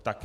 Tak.